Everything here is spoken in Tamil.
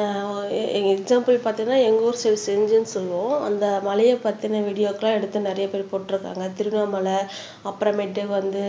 ஆஹ் எக்ஸாம்பிள் பாத்தீங்கன்னா எங்க ஊர் சைடு செஞ்சி சொல்லுவோம் அந்த மலையை பத்தின வீடியோக்கெல்லாம் எடுத்து நிறைய பேர் போட்டு இருக்காங்க திருவண்ணாமலை அப்புறமேட்டு வந்து